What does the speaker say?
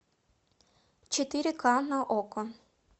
четыре ка на окко